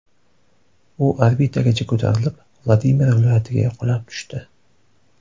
U orbitagacha ko‘tarilib, Vladimir viloyatiga qulab tushdi.